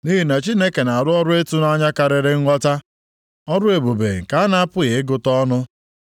Nʼihi na Chineke na-arụ ọrụ ịtụnanya karịrị nghọta, ọrụ ebube nke a na-apụghị ịgụta ọnụ.